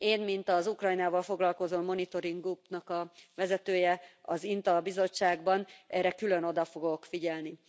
Én, mint az Ukrajnával foglalkozó monitoring útnak a vezetője az INTA bizottságban, erre külön oda fogok figyelni.